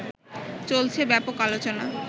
চলছে ব্যাপক আলোচনা